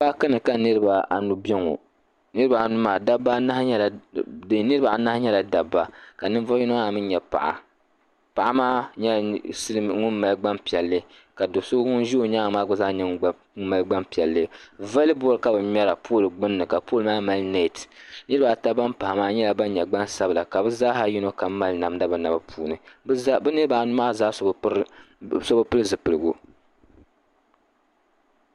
Paakini ka niriba anu bɛ ŋɔ niriba anu maa dabba niriba anahi nyɛla dabba ka niŋ zuɣu yino maa mii nyɛ paɣa paɣa maa nyɛla ŋun mali gban piɛlli ka do so ŋun gba ʒe o nyaaŋa maa mali gban piɛlli vollebɔl ka bɛ ŋmɛra pɔl gbunni ka pɔl maa mali nɛt niriba ata ban pahi maa nyɛla ban nyɛ gbaŋ sabila ka bɛ zaha yini kam mali namda o naba puuni bɛ niriba anu zaa so bɛ pili zipiligu.